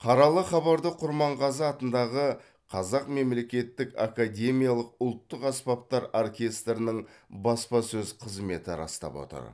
қаралы хабарды құрманғазы атындағы қазақ мемлекеттік академиялық ұлттық аспаптар оркестрінің баспасөз қызметі растап отыр